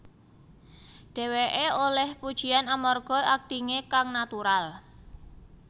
Dheweké olih pujian amarga aktingé kang natural